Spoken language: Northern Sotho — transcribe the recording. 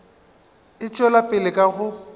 e tšwela pele ka go